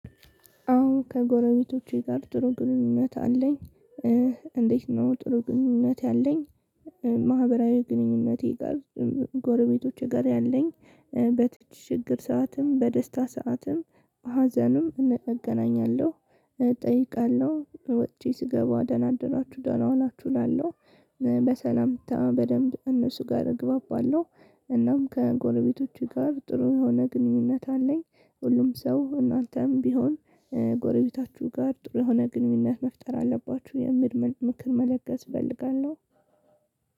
አዎ ከጎረቤቶቼ ጋር ጥሩ ግንኙነት አለኝ። እንዴት ነው ጥሩ ግንኙነት ያለኝ? ማህበራዊ ግንኙነቴ ጋር ጎረቤቶቼ ጋር ያለኝ። በችግር ሰዓትም በደስታ ሰዓትም በሀዘንም እገናኛለሁ። እጠይቃለሁ ወጪ ስገባ አደራችሁ ደህና ሆናችሁ እላለሁ። በሰላምታ በደንብ እነሱ ጋር እግባባለሁ። እናም ከጎረቤቶቹ ጋር ጥሩ የሆነ ግንኙነት አለኝ። ሁሉም ሰው እናንተም ቢሆን ከጎረቤታችሁ ጋር ጥሩ የሆነ ግንኙነት መፍጠር አለባቹ የሚል ምክር መለገስ እፈልጋለሁ።